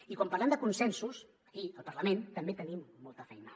i quan parlem de consensos aquí al parlament també tenim molta feina